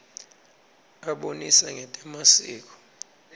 abonisa ngetemasiko